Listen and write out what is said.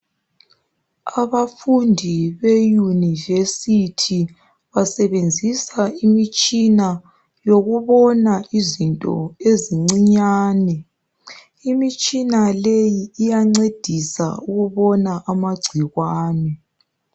Abafundi beyunivesithi basebenzisa imitshina yokubona izinto ezincinyane imitshina leyi iyancedisa ukubona amagcikwane